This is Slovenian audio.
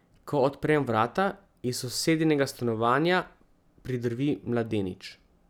Ko odprem vrata, iz sosedinega stanovanja pridrvi mladenič.